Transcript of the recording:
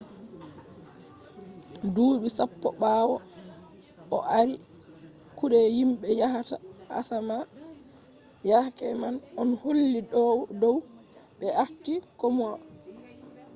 duuɓi sappo ɓawo o ardi kuɗe himɓe yahata asama yake man on holli dow ɓe arti komoi